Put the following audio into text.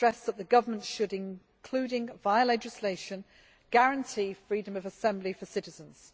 I stressed that the government should, including via legislation, guarantee freedom of assembly for citizens.